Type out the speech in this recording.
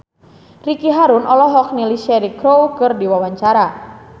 Ricky Harun olohok ningali Cheryl Crow keur diwawancara